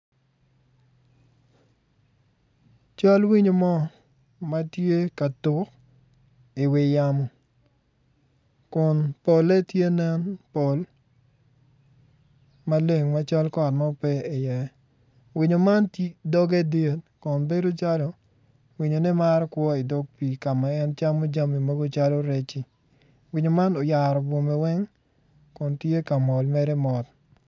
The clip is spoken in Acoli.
Cal eonyo mo matye ka tuk iwi yamo kun pole tye nen pol maleng macal kot mo pe i iye winyo man doge dit kun bedo calo winyone maro kwo idog pii kama en camo jami mogo calo rec-ci winyo man oyaro bwome weng kun tye ka mol mere mot.